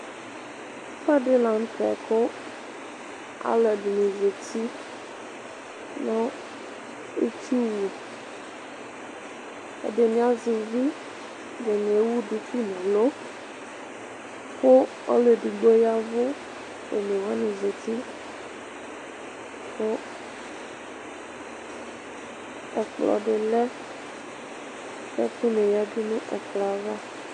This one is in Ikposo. ɛfu ɛdi lantɛ kò alò ɛdini zati no itsu wu ɛdini azɛ uvi ɛdini ewu duku n'uli kò ɔlò edigbo ya vu one wani zati kò ɛkplɔ di lɛ k'ɛkò ni ya du n'ɛkplɔɛ ava.